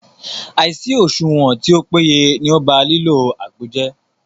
Àìsí òṣùwọ̀n tí o péye ní o bá lílo àgbo jẹ́.